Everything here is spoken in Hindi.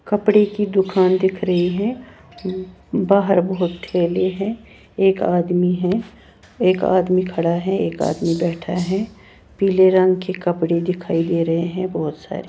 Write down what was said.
कपड़े की दुकान दिख रही है बाहर बहुत थेले हैं एक आदमी है एक आदमी खड़ा है एक आदमी बैठा है पीले रंग के कपड़े दिखाई दे रहे हैं बहुत सारे--